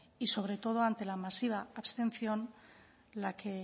y sobre todo ante la masiva abstención